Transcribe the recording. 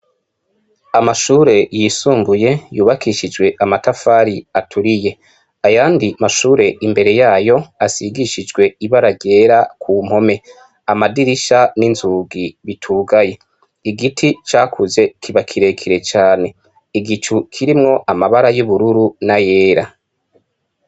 Amashure yisumbuye yubakishijwe amatafari aturiye. Ayandi mashure imbere yayo, ashigishijwe ibara ryera ku mpome. Amadirisha n'inzugi bitugaye. Igiti cakuze kiba kirekire cane. Igicu kirimwo amabara y'ubururu n'ayera.